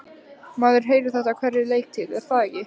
Maður heyrir þetta á hverri leiktíð er það ekki?